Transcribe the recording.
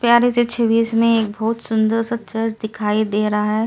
प्यारे से छवि इसमें एक बहुत सुंदर सा चर्च दिखाई दे रहा है।